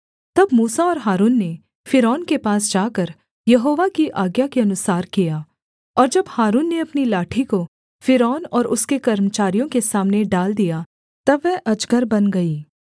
तब मूसा और हारून ने फ़िरौन के पास जाकर यहोवा की आज्ञा के अनुसार किया और जब हारून ने अपनी लाठी को फ़िरौन और उसके कर्मचारियों के सामने डाल दिया तब वह अजगर बन गई